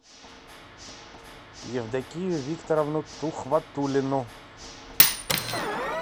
евдокию викторовну тухватуллину